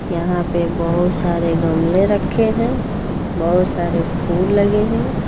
यहां पे बहुत सारे गमले रखे हैं बहुत सारे फूल लगे हैं।